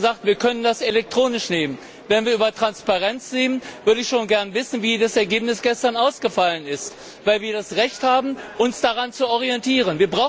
Mir wurde gesagt, wir können das elektronisch abrufen. Wenn wir über Transparenz reden, würde ich schon gerne wissen, wie das Ergebnis gestern ausgefallen ist, weil wir das Recht haben, uns daran zu orientieren.